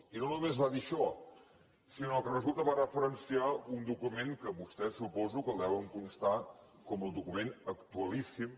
i no només va dir això sinó que resulta que va referenciar un document que vostès suposo que el deuen constar com el document actualíssim